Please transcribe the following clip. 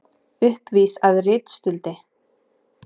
Uppvís að ritstuldi